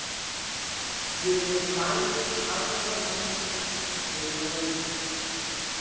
Við erum bæði aðrar manneskjur en við vorum.